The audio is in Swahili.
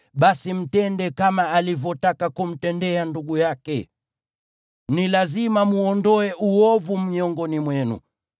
basi mtende kama alivyotaka kumtendea ndugu yake. Ni lazima mwondoe uovu miongoni mwenu.